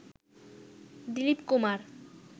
Dilip Kumar